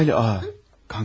Durumunuz xeyli ağır.